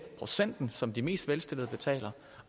procenten som de mest velstillede betaler